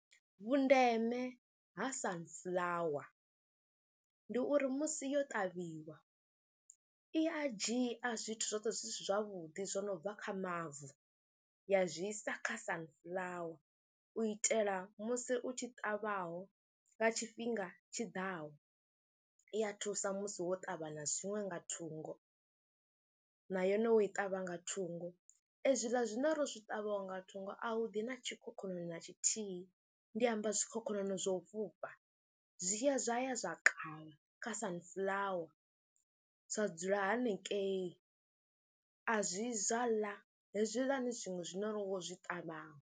Vhundeme ha Sunflower ndi uri musi yo ṱavhiwa i a dzhia zwithu zwoṱhe zwi si zwavhuḓi zwo no bva kha mavu ya zwi sa kha Sunflower u itela musi u tshi ṱavhaho nga tshifhinga tshi ḓaho. I ya thusa musi wo ṱavha na zwiṅwe nga thungo na yone u i ṱavha nga thungo, ezwiḽa zwine ro zwi ṱavhaho nga thungo a hu ḓi na tshikhokhonono na tshithihi. Ndi amba zwikhokhonono zwa u fhufha zwi tshi ya zwa ya zwa kavha kha Sunflower, zwa dzula hanengei, a zwi yi zwa ḽa hezwiḽani zwiṅwe zwine ro zwi ṱavhaho.